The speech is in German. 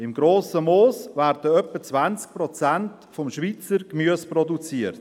Im Grossen Moos wird etwa 20 Prozent des Schweizer Gemüses produziert.